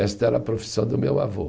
Esta era a profissão do meu avô.